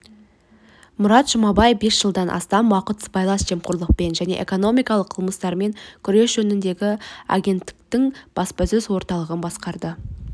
мұрат жұманбай бес жылдан астам уақыт сыбайлас жемқорлықпен және экономикалық қылмыстармен күрес жөніндегі агенттіктің баспасөз-орталығын басқарды